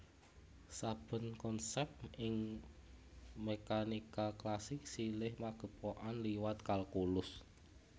Saben konsèp ing mékanika klasik silih magepokan liwat kalkulus